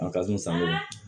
A ka di sango